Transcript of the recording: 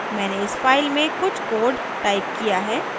मैंने इस file में कुछ code टाइप किया है